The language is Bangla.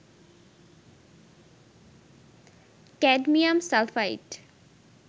cadmium sulphide